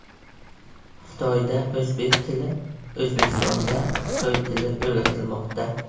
Xitoyda o‘zbek tili, O‘zbekistonda xitoy tili o‘rgatilmoqda.